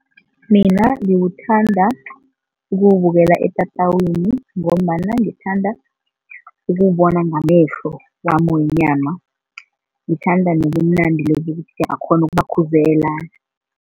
Mina ngiwuthanda ukuwubukela etatawini ngombana ngithanda ukubona ngamehlo wami wenyama. Ngithanda nobumnandi lobu bokuthi uyakghona ukubakhuzela.